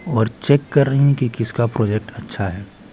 और चेक कर रही हैं कि किसका प्रोजेक्ट अच्छा है।